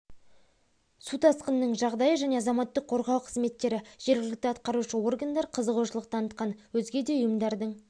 су тасқынының жағдайы және азаматтық қорғау қызметтері жергілікті атқарушы органдар қызығушылық танытқан өзге де ұйымдардың